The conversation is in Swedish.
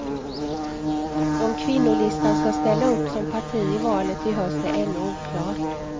Om kvinnolistan ska ställa upp som parti i valet i höst är ännu oklart.